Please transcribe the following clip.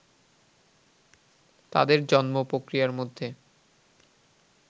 তাঁদের জন্ম-প্রক্রিয়ার মধ্যে